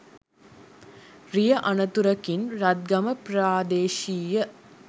රිය අනතුරකින් රත්ගම ප්‍රාදේශීය